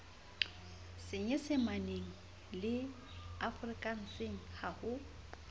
senyesemaneng le afrikanseng ha ho